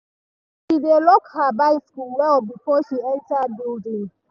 she dey lock her bicycle well before she enter building.